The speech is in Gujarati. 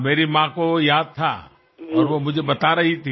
મારી બાને યાદ હતું અને તેમણે મને વાત કરી હતી